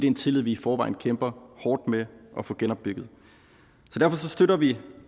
en tillid vi i forvejen kæmper hårdt med at få genopbygget derfor støtter vi